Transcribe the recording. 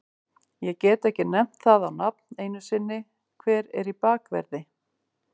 Ég get ekki nefnt það á nafn einu sinni, hver er í bakverði?